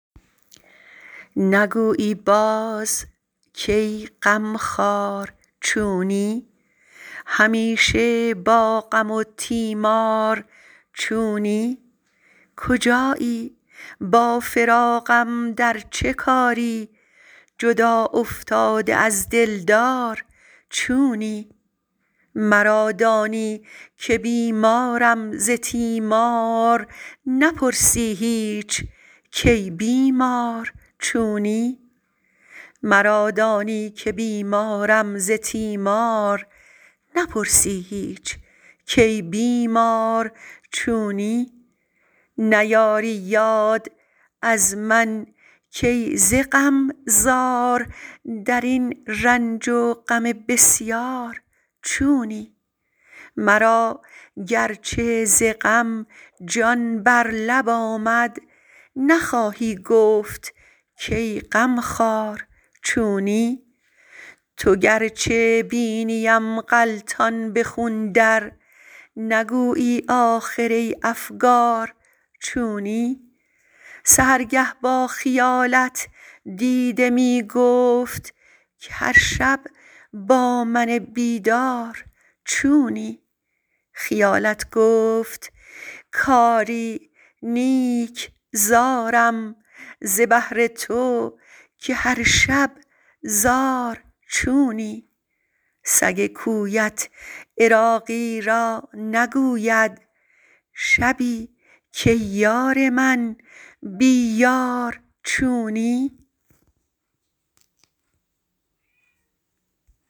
نگویی باز کای غم خوار چونی همیشه با غم و تیمار چونی کجایی با فراقم در چه کاری جدا افتاده از دلدار چونی مرا دانی که بیمارم ز تیمار نپرسی هیچ کای بیمار چونی نیاری یاد از من کای ز غم زار درین رنج و غم بسیار چونی مرا گرچه ز غم جان بر لب آمد نخواهی گفت کای غم خوار چونی تو گرچه بینیم غلتان به خون در نگویی آخر ای افگار چونی سحرگه با خیالت دیده می گفت که هر شب با من بیدار چونی خیالت گفت کآری نیک زارم ز بهر تو که هر شب زار چونی سگ کویت عراقی را نگوید شبی کای یار من بی یار چونی